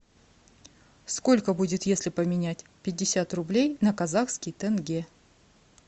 сколько будет если поменять пятьдесят рублей на казахский тенге